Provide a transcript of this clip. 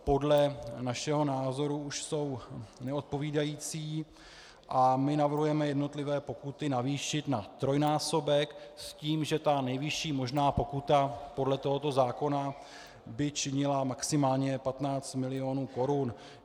Podle našeho názoru už jsou neodpovídající a my navrhujeme jednotlivé pokuty navýšit na trojnásobek s tím, že ta nejvyšší možná pokuta podle tohoto zákona by činila maximálně 15 mil. korun.